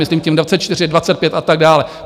Myslím tím 2024, 2025 a tak dále.